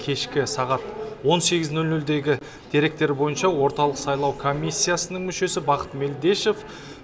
кешкі сағат он сегіз нөл нөлдегі деректер бойынша орталық сайлау комиссиясының мүшесі бақыт мелдешов